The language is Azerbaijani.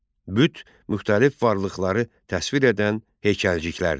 Büt müxtəlif varlıqları təsvir edən heykəlciklərdir.